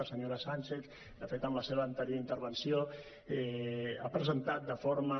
la senyora sànchez de fet en la seva anterior intervenció ha presentat de forma